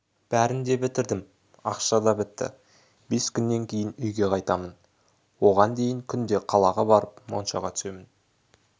бәрін де бітірдім ақша да бітті бес күннен кейін үйге қайтамын оған дейін күнде қалаға барып моншаға түсемін